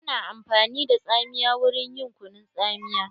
Ana amfani da tsamiya wurin yin kunun tsamiya.